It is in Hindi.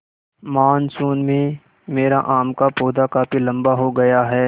मानसून में मेरा आम का पौधा काफी लम्बा हो गया है